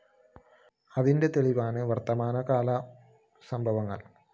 അതിന്റെ തെളിവാണ് വര്‍ത്തമാനകാല സംഭവങ്ങള്‍